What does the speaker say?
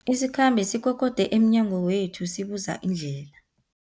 Isikhambi sikokode emnyango wethu sibuza indlela.